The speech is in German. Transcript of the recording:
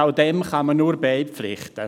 Auch dem kann man nur beipflichten.